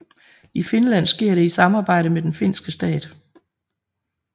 I Finland sker det i samarbejde med den finske stat